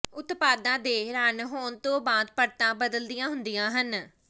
ਉਤਪਾਦਾਂ ਦੇ ਰਨ ਹੋਣ ਤੋਂ ਬਾਅਦ ਪਰਤਾਂ ਬਦਲੀਆਂ ਹੁੰਦੀਆਂ ਹਨ